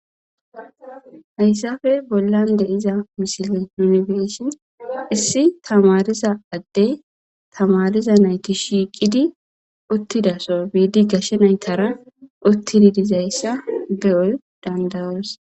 hayssafe bollan de' iza misile nunifeshiin issi tamariza addey tamariza nayti shiiqidi uttidaso biidi gashe naytara uttidi dizayssa be7oy dandayoos